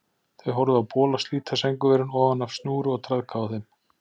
Þau horfðu á bola slíta sængurverin ofan af snúru og traðka á þeim.